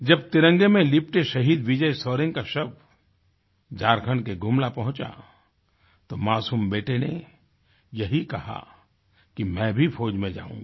जब तिरंगे में लिपटे शहीद विजय शोरेन का शव झारखण्ड के गुमला पहुँचा तो मासूम बेटे ने यही कहा कि मैं भी फौज़ में जाऊँगा